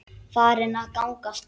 Farin að ganga strax!